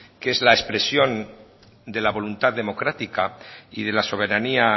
que es la expresión de la voluntad democrática y de la soberanía